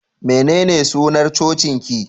Menene sunar cocin ki?